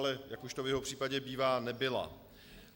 Ale jak už to v jeho případě bývá, nebyla.